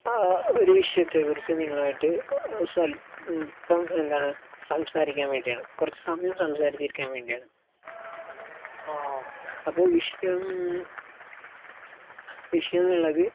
ആഹ് ഒരു വിഷയത്തെ കുറിച്ച് നിങ്ങളും ആയിട്ട് ഏഹ് സ്വല്പം എന്താണ് സംസാരിക്കാൻ വേണ്ടിയാണ്. കുറച്ച് സമയം സംസാരിച്ചിരിക്കാൻ വേണ്ടിയാണ്. അപ്പൊ വിഷയം വിഷയം എന്നുള്ളത്